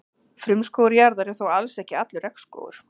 Frumskógur jarðar er þó alls ekki allur regnskógur.